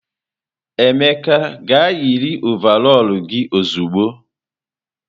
Emeka gaa yiri ọvarọọr gi ozugbo!